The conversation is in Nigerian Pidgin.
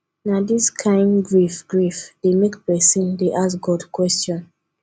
na dis kain grief grief dey make pesin dey ask god question